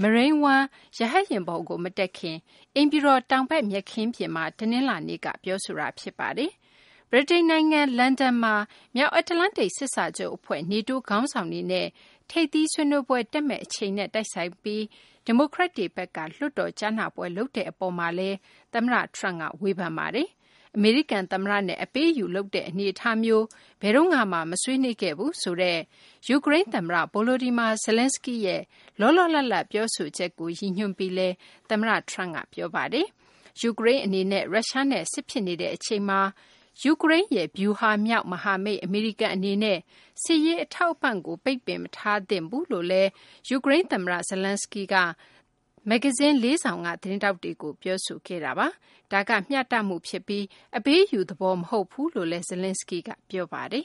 Marine One ရဟတ်ယာဉ်ပေါ်ကို မတက်ခင် အိမ်ဖြူတော် တောင်ဘက် မြက်ခင်းပြင်မှာ တနလာၤနေ့က ပြောဆိုခဲ့တာ ဖြစ်ပါတယ်။ ဗြိတိန် နိုင်ငံ လန်ဒန်မှာ မြောက်အတ္တလန္တိတ် စစ်စာချုပ် အဖွဲ့ NATO ခေါင်းဆောင်တွေနဲ့ ထိပ်သီးဆွေးနွေးပွဲ တက်မယ့် အချိန်နဲ့ တိုက်ဆိုင်ပြီး ဒီမိုကရက်တွေဘက်က လွှတ်တော် ကြားနာပွဲ လုပ်တဲ့ အပေါ်မှာလည်း သမ္မတ Trump က ဝေဖန်ခဲ့ပါတယ်။ အမေရိကန် သမ္မတနဲ့ အပေးအယူ လုပ်တဲ့ အနေအထားမျိုးနဲ့ ဘယ်တုန်းကမှ မဆွေးနွေးခဲ့ဘူး ဆိုတဲ့ ယူကရိန်း သမ္မတ Volodmyr Zelenskiy ရဲ့ လောလောလတ်လတ် ပြောဆိုချက်ကို ရည်ညွှန်းပြီးလည်း သမ္မတ Trump က ပြောဆိုခဲ့ပါတယ်။ ယူကရိန်း အနေနဲ့ ရုရှားနဲ့ စစ်ဖြစ်နေတဲ့ အချိန်မှာ ယူကရိန်းရဲ့ ဗျူဟာမြောက် မဟာမိတ် အမေရိကန် အနေနဲ့ စစ်ရေး အထောက်အပံ့ကို ပိတ်ပင်မထားသင့်ဘူးလို့လည်း ယူကရိန်း သမ္မတ Zelenskiy က မဂ္ဂဇင်း ၄ စောင်က သတင်းထောက်တွေကို ပြောဆိုခဲ့ပါတယ်။ ဒါက မျှတမှု ဖြစ်ပြီး အပေးအယူ သဘော မဟုတ်ပါဘူးလို့လည်း Zelenskiy က ပြောပါတယ်